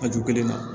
A ju kelen na